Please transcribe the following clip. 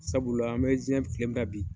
Sabula an bɛ jɛn kile min na bi